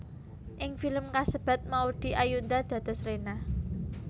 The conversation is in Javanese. Ing film kasebat Maudy Ayunda dados Rena